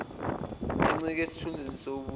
encike esithunzini sobuntu